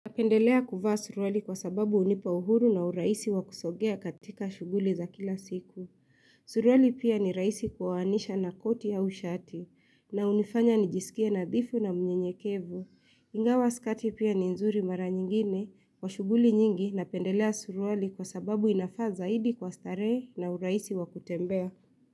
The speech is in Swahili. Napendelea kuvaa suruali kwa sababu hunipa uhuru na urahisi wakusogea katika shughuli za kila siku. Suruali pia ni rahisi kuvaanisha na koti au shati na hunifanya nijisikie nadhifu na mnyenyekevu. Ingawa skati pia ni nzuri mara nyingine kwa shughuli nyingi na pendelea suruali kwa sababu inafaa zaidi kwa starehe na urahisi wakutembea.